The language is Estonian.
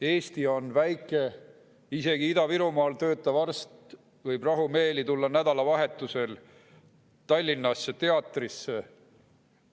Eesti on väike, isegi Ida-Virumaal töötav arst võib rahumeeli tulla nädalavahetusel Tallinnasse teatrisse.